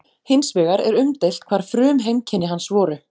Hins vegar er umdeilt hvar frumheimkynni hans voru.